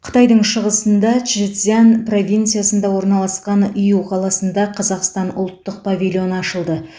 қытайдың шығысында чжэцзян провинциясында орналасқан иу қаласында қазақстан ұлттық павильоны ашылды